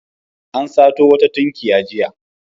An sato wata tunkiya jiya.